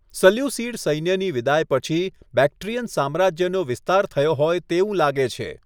Seleucid સૈન્યની વિદાય પછી, બેક્ટ્રીયન સામ્રાજ્યનો વિસ્તાર થયો હોય તેવું લાગે છે.